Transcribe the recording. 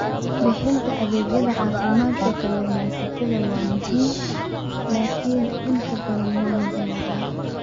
Bixinta adeegyada caafimaadka kalluumaysatada waa muhiim laakiin inta badan waa la dayacay.